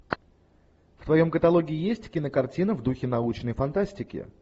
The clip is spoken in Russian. в твоем каталоге есть кинокартина в духе научной фантастики